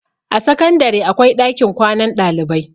a sakandare akwai ɗakin kwanan ɗalibai